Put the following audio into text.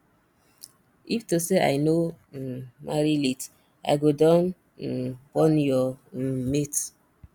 if to say i no um marry late i go don um born your um mate